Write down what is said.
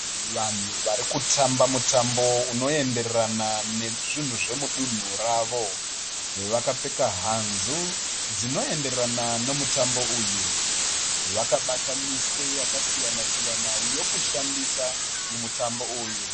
Vanhu varikutamba mutambo unoenderana nezvinhu zvemudunhu ravo. Vakapfeka hanzu dzinoenderana nemutambo uyu. Vakabata miswe yakasiyana siyana yokushandisa mumutambo uyu.